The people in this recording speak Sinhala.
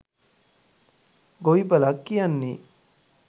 ගොවිපලක් කියන්නෙ